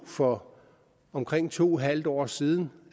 for omkring to en halv år siden